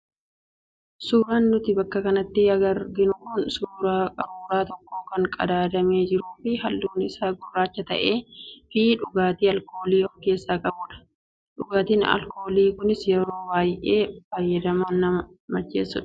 Suuraan nuti bakka kanatti arginu kun suuraa qaruuraa tokko kan qadaadamee jiruu fi halluun isaa gurraacha ta'ee fi dhugaatii alkoolii of keessaa qabudha. Dhugaatiin alkoolii kunis yoo baay'inaan fayyadaman nama macheessa.